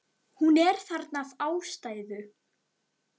Hún er þarna af ástæðu.